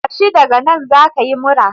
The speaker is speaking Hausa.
Tashi daga nan za ka yi mura